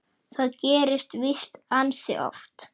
Það gerist víst ansi oft.